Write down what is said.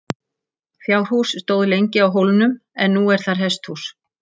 Fjárhús stóð lengi á hólnum en nú er þar hesthús.